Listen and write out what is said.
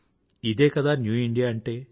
ఇదే కదా new India అంటే